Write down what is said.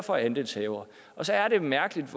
og andelshavere så er det mærkeligt